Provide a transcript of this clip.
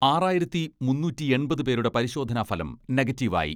ആറായിരത്തി മുന്നൂറ്റിയെൺപത് പേരുടെ പരിശോധനാഫലം നെഗറ്റീവ് ആയി.